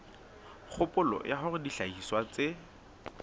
kgopolo ya hore dihlahiswa tse